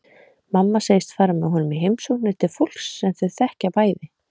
Mamma segist fara með honum í heimsóknir til fólks sem þau þekkja bæði.